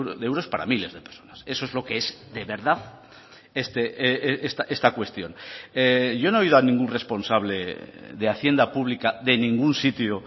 de euros para miles de personas eso es lo que es de verdad esta cuestión yo no he oído a ningún responsable de hacienda pública de ningún sitio